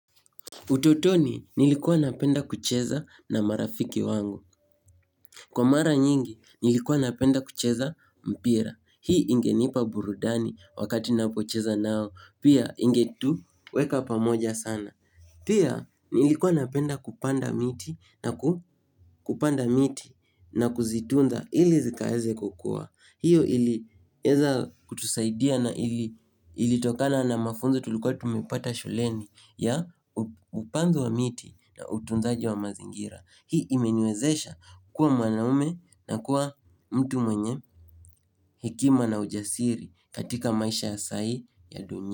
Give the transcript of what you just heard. Utotoni nilikuwa napenda kucheza na marafiki wangu. Kwa mara nyingi nilikuwa napenda kucheza mpira. Hii ingenipa burudani wakati napocheza nao. Pia ingetu weka pamoja sana. Pia nilikuwa napenda kupanda miti na kuzitunza ili zikaeze kukua. Hiyo ilieza kutusaidia na ilitokana na mafunzo tulikuwa tumepata shuleni ya upandu wa miti. Na utunzaji wa mazingira hii imeniwezesha kuwa mwanaume na kuwa mtu mwenye hekima na ujasiri katika maisha ya sai ya dunia.